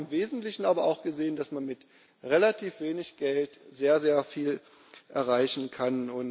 Wir haben im Wesentlichen aber auch gesehen, dass man mit relativ wenig Geld sehr, sehr viel erreichen kann.